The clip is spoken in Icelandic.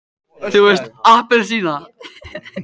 þú veist APPELSÍNA!